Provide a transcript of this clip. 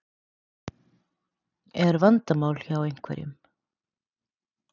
Er vandamál hjá einhverjum?